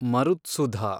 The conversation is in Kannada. ಮರುತ್ಸುಧ